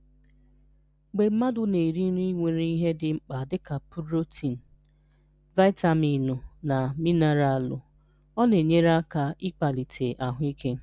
Mgbe mmadụ na-eri nri nwere ihe dị mkpa dịka purotinụ, vaịtaminụ na minaralụ, ọ na-enyere aka ịkwalite ahụike.